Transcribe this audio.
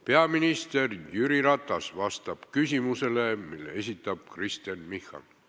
Peaminister Jüri Ratas vastab küsimusele, mille esitab Kristen Michal.